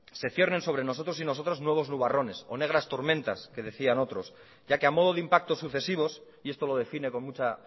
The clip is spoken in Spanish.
se ciernen sobre nosotros y nosotras nuevos nubarrones o negras tormentas que decían otros ya que a modo de impacto sucesivos y esto lo define con mucha